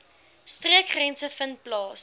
streekgrense vind plaas